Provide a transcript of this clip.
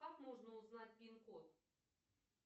как можно узнать пин код